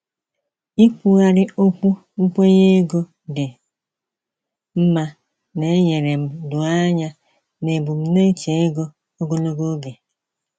Ikwugharị okwu nkwenye ego dị mma na-enyere m doo anya n’ebumnuche ego ogologo oge.